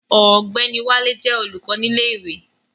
Ọ̀gbẹ́ni Wálé jẹ́ olùkọ́ ní ilé ìwé